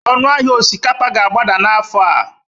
ọnụ ahịa osikapa ka ga-agbada n'afọ a?